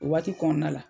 O waati kɔnɔna la